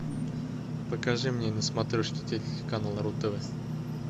покажи мне на смотрешке телеканал ру тв